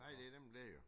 Nej det nemlig det jo